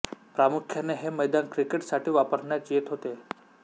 प्रामुख्याने हे मैदान क्रिकेट साठी वापरण्यात येत होते